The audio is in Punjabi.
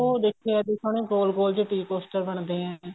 ਦੇਖੇ ਏ ਵੀ ਸੋਹਣੇ ਗੋਲ ਗੋਲ ਜੇ tea costar ਬਣਦੇ ਏ